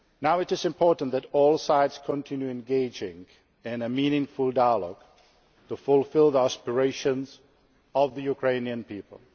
It is now important that all sides continue engaging in a meaningful dialogue to fulfil the aspirations of the Ukrainian people.